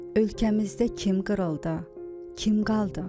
Ölkəmizdə kim qırıldı, kim qaldı?